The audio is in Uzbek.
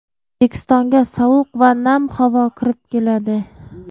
O‘zbekistonga sovuq va nam havo kirib keladi.